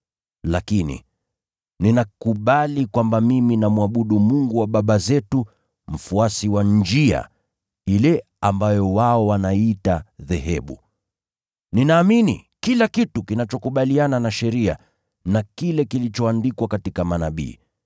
Lakini, ninakubali kwamba mimi namwabudu Mungu wa baba zetu, mfuasi wa Njia, ile ambayo wao wanaiita dhehebu. Ninaamini kila kitu kinachokubaliana na Sheria na kile kilichoandikwa katika Manabii,